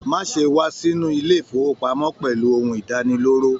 Má ṣe wà sínú ilé ifowopamọ pẹlú ohùn idaniloro.